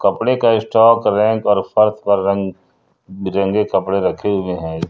कपड़े का stock rack और फर्श पर रंग बिरंगे कपड़े रखे हुए हैं।